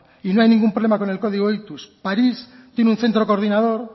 y no hay ningún problema con el código ictus parís tiene un centro coordinador